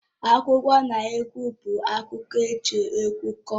Akụkọnaegwu bụ akụkọ eji egwu kọọ